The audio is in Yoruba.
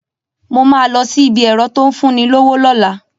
Mo ma lọ sí ibi ẹ̀rọ́ tó ń fún ni lówó lọ́la